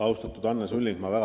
Austatud Anne Sulling!